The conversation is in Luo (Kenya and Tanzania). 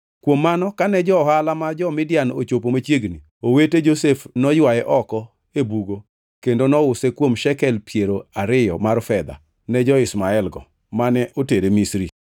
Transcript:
Kuom mano kane jo-ohala ma jo-Midian ochopo machiegni, owete Josef noywaye oko e bugo kendo nouse kuom shekel piero ariyo mar fedha ne jo-Ishmaelgo, mane otere Misri.